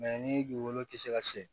ni dugukolo tɛ se ka se